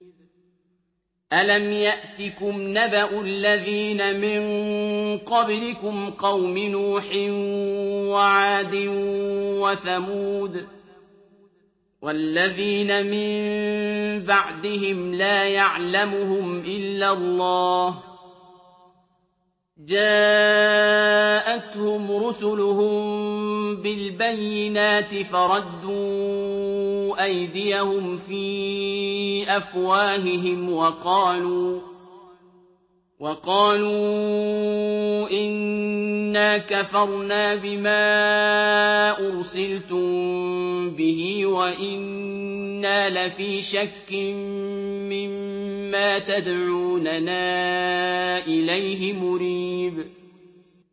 أَلَمْ يَأْتِكُمْ نَبَأُ الَّذِينَ مِن قَبْلِكُمْ قَوْمِ نُوحٍ وَعَادٍ وَثَمُودَ ۛ وَالَّذِينَ مِن بَعْدِهِمْ ۛ لَا يَعْلَمُهُمْ إِلَّا اللَّهُ ۚ جَاءَتْهُمْ رُسُلُهُم بِالْبَيِّنَاتِ فَرَدُّوا أَيْدِيَهُمْ فِي أَفْوَاهِهِمْ وَقَالُوا إِنَّا كَفَرْنَا بِمَا أُرْسِلْتُم بِهِ وَإِنَّا لَفِي شَكٍّ مِّمَّا تَدْعُونَنَا إِلَيْهِ مُرِيبٍ